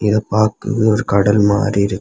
இதை பார்க்கும் போது ஒரு கடல் மாதிரி இருக்கு.